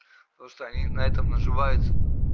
потому что на этом наживаются